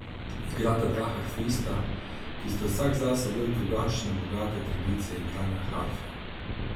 Igrata dva harfista, ki sta vsak zase del drugačne bogate tradicije igranja harfe.